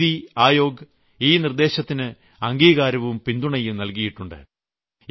നീതി ആയോഗ് ഈ നിർദ്ദേശത്തിന് അംഗീകാരവും പിന്തുണയും നൽകിയിട്ടുണ്ട്